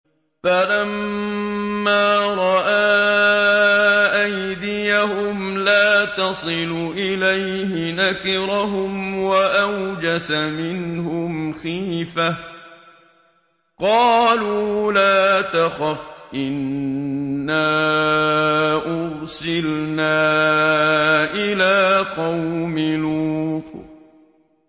فَلَمَّا رَأَىٰ أَيْدِيَهُمْ لَا تَصِلُ إِلَيْهِ نَكِرَهُمْ وَأَوْجَسَ مِنْهُمْ خِيفَةً ۚ قَالُوا لَا تَخَفْ إِنَّا أُرْسِلْنَا إِلَىٰ قَوْمِ لُوطٍ